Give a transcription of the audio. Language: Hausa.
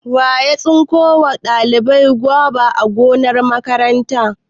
Wa ya tsinko wa ɗaliban goba a gonar makaranta?